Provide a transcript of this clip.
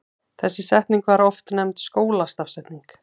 Þessi stafsetning var oft nefnd skólastafsetningin.